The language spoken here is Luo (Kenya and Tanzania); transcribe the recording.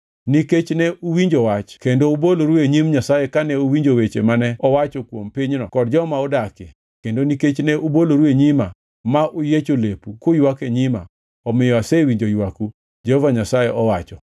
Nikech ne uwinjo wach kendo uboloru e nyim Nyasaye kane uwinjo weche mane owacho kuom pinyni kod joma odakie, kendo nikech ne uboloru e nyima, ma uyiecho lepu kuywak e nyima, omiyo asewinjo ywaku, Jehova Nyasaye owacho.